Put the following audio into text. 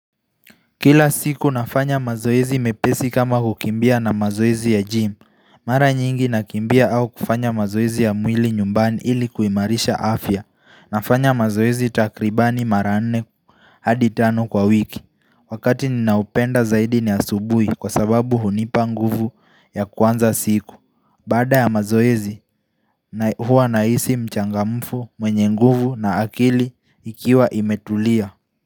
Kila siku nafanya mazoezi mepesi kama kukimbia na mazoezi ya gym Mara nyingi na kimbia au kufanya mazoezi ya mwili nyumbani ili kuimarisha afya nafanya mazoezi takribani mara nne hadi tano kwa wiki Wakati ninaupenda zaidi ni asubuhi kwa sababu hunipa nguvu ya kuanza siku Baada ya mazoezi huwa nahisi mchangamfu mwenye nguvu na akili ikiwa imetulia.